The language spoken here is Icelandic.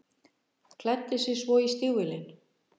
Klæddi sig svo í stígvélin.